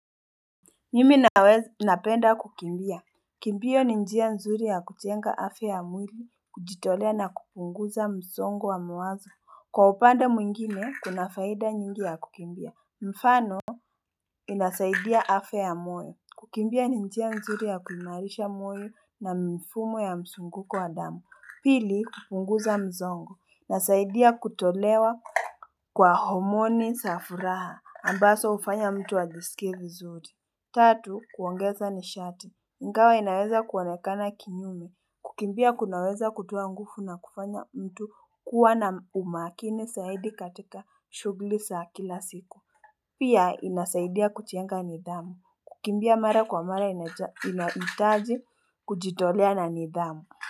Mimi naweza napenda kukimbia. Kimbio ni njia nzuri ya kujenga afya ya mwili. Kujitolea na kupunguza msongo wa mawazo. Kwa upande mwingine kuna faida nyingi ya kukimbia mfano inasaidia afya ya moyo. Kukimbia ni njia nzuri ya kuimarisha moyo na mfumo ya mzunguko wa damu. Pili kupunguza mzongo inasaidia kutolewa Kwa homoni za furaha ambazo hufanya mtu ajisikie vizuri. Tatu kuongeza nishati. Ingawa inaweza kuonekana kinyume. Kukimbia kunaweza kutoa nguvu na kufanya mtu kuwa na umakini zaidi katika shughuli za kila siku. Pia inasaidia kujenga nidhamu. Kukimbia mara kwa mara inahitaji kujitolea na nidhamu.